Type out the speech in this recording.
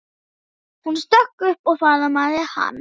Hún stökk upp og faðmaði hann.